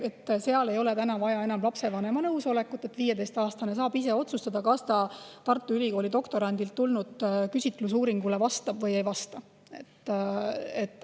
Seal ei oleks enam vaja lapsevanema nõusolekut ja 15‑aastane saaks ise otsustada, kas ta Tartu Ülikooli doktorandilt tulnud küsitlusuuringule vastab või ei vasta.